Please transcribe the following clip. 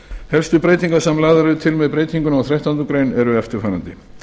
helstu breytingar sem lagðar eru til með breytingunni á þrettándu greinar eru eftirfarandi